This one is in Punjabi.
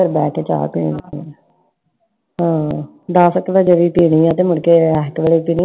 ਬੈਠ ਕੇ ਚਾਹ ਪੀਣ ਲਗੇ ਆ l ਆਹ ਦੱਸ ਕੇ ਵਜੇ ਪੀਣੀ ਫਿਰ ਤੇ ਮੁਡ਼ਕੇ ਏਸ ਵੇਲੇ ਪੀਣੀ l